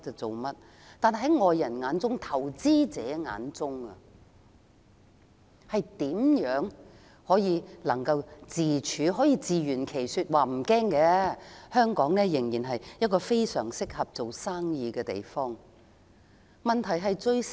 在外國投資者面前，她如何可以自圓其說，說服投資者無須擔心，香港仍是一個非常適合做生意的地方？